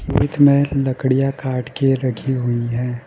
With मे लकड़ियां काट के रखी हुई हैं।